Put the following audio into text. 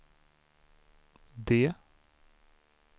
D